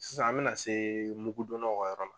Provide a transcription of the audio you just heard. Sisan an bɛna se mugu donna ka yɔrɔ la.